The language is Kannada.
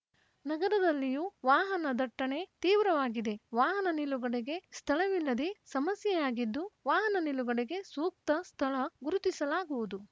ನಗರದಲ್ಲಿಯೂ ವಾಹನ ದಟ್ಟಣೆ ತೀವ್ರವಾಗಿದೆ ವಾಹನ ನಿಲುಗಡೆಗೆ ಸ್ಥಳವಿಲ್ಲದೆ ಸಮಸ್ಯೆಯಾಗಿದ್ದು ವಾಹನ ನಿಲುಗಡೆಗೆ ಸೂಕ್ತ ಸ್ಥಳ ಗುರುತಿಸಲಾಗುವುದು